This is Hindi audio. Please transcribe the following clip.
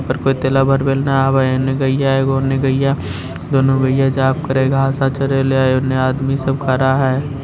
यहाँ पे कोई तेल भरवाने न आवे हेने गइया एगो होना गईया हई दोनों गईया औने आदमी सब खड़ा है।